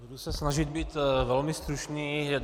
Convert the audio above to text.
Budu se snažit být velmi stručný.